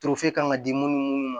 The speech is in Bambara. kan ka di munnu ma